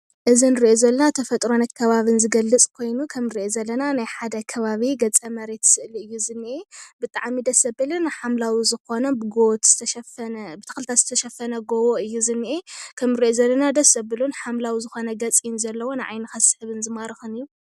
እዚ ንሪእ ዘለና ተፈጥሮ ናይ ከባቢ ዝገልፅ ኮይኑ ከም እንሪኦ ዘለና ናይ ሓደ ከባቢ ገፀ መሬት ስእሊ እዩ ዝኒሀ። ብጣዕሚ ደስ ዘብልን ሓምላዊ ዝኮነ ብጎቦታት ዝተሸፈነ ብተክልታትን ዝተሸፈነ ጎቦ እይ ዝኒአ። ከምንሪኦ ዘለና ደስ ዘብልን ሓምላዊ ዝኮነ ገፅ እዩ ዘለዎ። ንዓይንካ ዝስሕብን ዝማርኸን እዩ።